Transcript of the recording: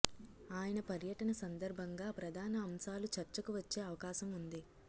ఆయన పర్యటన సందర్భంగా ప్రధాన అంశాలు చర్చకు వచ్చే అవకాశం ఉంది